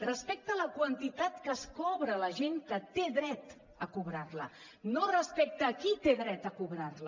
respecte a la quantitat que es cobra a la gent que té dret a cobrar la no respecte qui té dret a cobrar la